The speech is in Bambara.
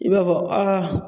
I b'a fɔ aa